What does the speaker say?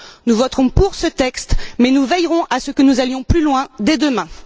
Nous voterons pour ce texte mais nous veillerons à ce que nous allions plus loin dès demain.